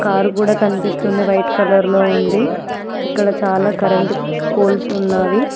Car కూడా కనిపిస్తుంది white colour లో ఉంది ఇక్కడ చాలా కరెంటు పోల్స్ ఉన్నవి.